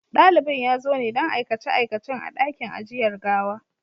Dalibin ya zo ne don aikace-aikacen a ɗakin ajiyar gawa.